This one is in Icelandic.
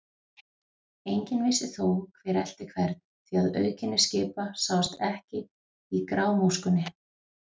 Enginn vissi þó, hver elti hvern, því að auðkenni skipa sáust ekki í grámóskunni.